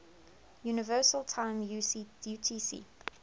universal time utc